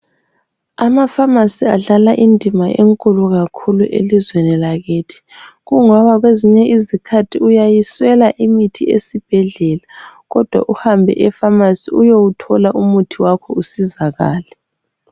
amafamasi adlala indima enkulu kakhulu elizweni lakithi kungoba kwezinye izikhathi uyayiswela imithi ezibhedlela kodwa uhabe efamasi uyuthile umuthi wakho usizakale